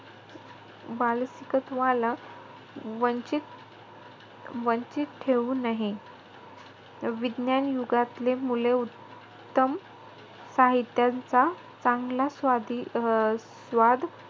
बालसिकत्वाला वंचित- वंचित ठेहू नये. विज्ञान युगातली मुले उत्तम साहित्यांचा चांगला स्वादी अं स्वाद,